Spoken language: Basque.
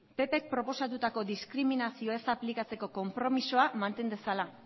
pp k proposatutako diskriminazioa ez aplikatzeko konpromisoa manten dezala